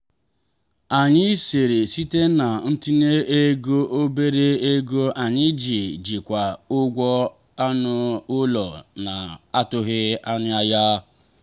anyị sere site na ntinye ego obere oge anyị iji jikwaa ụgwọ anụ ụlọ na-atụghị anya ya.